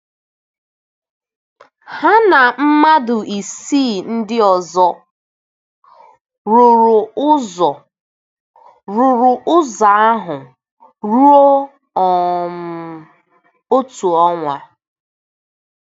Ha na mmadụ isii ndị ọzọ rụrụ ọzọ rụrụ ọrụ ahụ ruo um otu ọnwa.